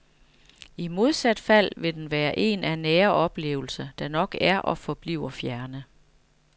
I modsat fald vil den være en af nære oplevelser, der nok er og forbliver fjerne.